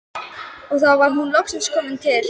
Og þá var hún loksins komin til